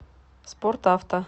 спорт авто